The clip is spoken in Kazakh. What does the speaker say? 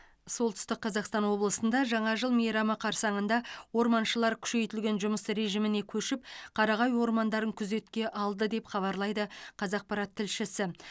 солтүстік қазақстан облысында жаңа жыл мейрамы қарсаңында орманшылар күшейтілген жұмыс режиміне көшіп қарағай ормандарын күзетке алды деп хабарлайды қазақпарат тілшісі